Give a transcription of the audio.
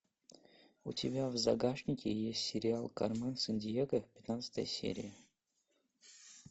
у тебя в загашнике есть сериал кармен сандиего пятнадцатая серия